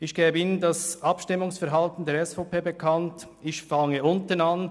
Ich gebe Ihnen nun das Abstimmungsverhalten der SVP bekannt und fange unten an.